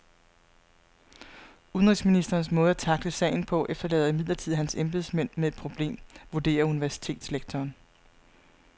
Udenrigsministerens måde at tackle sagen på efterlader imidlertid hans embedsmænd med et problem, vurderer universitetslektoren.